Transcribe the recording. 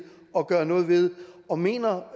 at gøre noget ved og mener